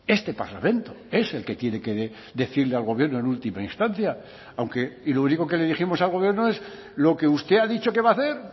este parlamento es el que tiene que decirle al gobierno en última instancia aunque y lo único que le dijimos al gobierno es lo que usted ha dicho que va a hacer